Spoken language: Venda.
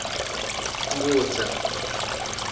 ngudza